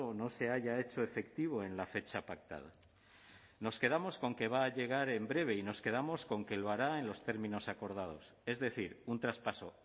no se haya hecho efectivo en la fecha pactada nos quedamos con que va a llegar en breve y nos quedamos con que lo hará en los términos acordados es decir un traspaso